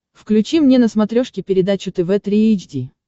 включи мне на смотрешке передачу тв три эйч ди